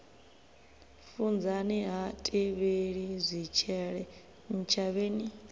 funzani ha tevheli zwitshele ntshavheni